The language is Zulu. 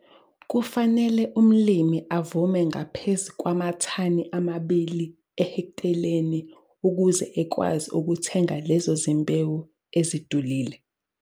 Kufanele umlimi avune ngaphezu kwamathani amabili ehekteleni ukuze ekwazi ukuthenga lezo zimbewu ezidulile.